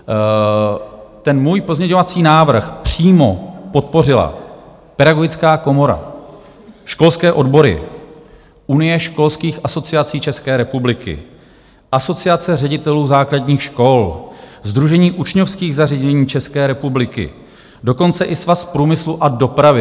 Ten můj pozměňovací návrh přímo podpořila Pedagogická komora, školské odbory, Unie školských asociací České republiky, Asociace ředitelů základních škol, Sdružení učňovských zařízení České republiky, dokonce i Svaz průmyslu a dopravy.